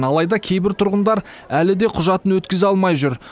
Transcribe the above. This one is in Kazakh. алайда кейбір тұрғындар әлі де құжатын өткізе алмай жүр